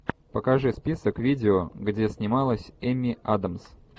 покажи список видео где снималась эмми адамс